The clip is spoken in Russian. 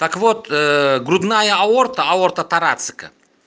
так вот грудная аорта аорта тарацэка